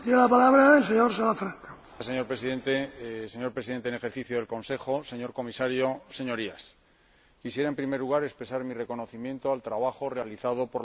Señor Presidente, señor Presidente en ejercicio del Consejo, señor Comisario, Señorías, quisiera, en primer lugar, expresar mi reconocimiento al trabajo realizado por la ponente general del presupuesto.